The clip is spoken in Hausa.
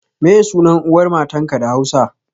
Meye sunan uwar matanka da Hausa?